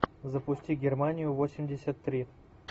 запусти германию восемьдесят три